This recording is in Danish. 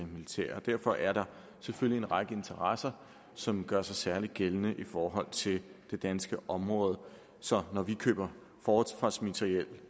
militære derfor er der selvfølgelig en række interesser som gør sig særlig gældende i forhold til det danske område så når vi køber forsvarsmateriel